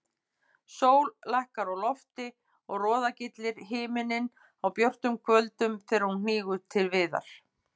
Sól lækkar á lofti og roðagyllir himininn á björtum kvöldum þegar hún hnígur til viðar.